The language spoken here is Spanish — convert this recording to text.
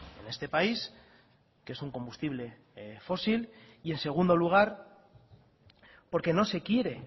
en este país que es un combustible fósil y en segundo lugar porque no se quiere